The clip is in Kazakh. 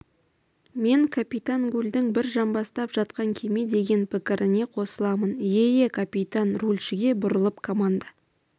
мен капитан гульдің бір жамбастап жатқан кеме деген пікіріне қосыламын ие ие капитан рульшіге бұрылып команда